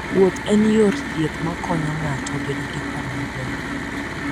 Wuoth en yor thieth makonyo ng'ato bedo gi paro maber.